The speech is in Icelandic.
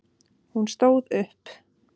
Hún stóð upp.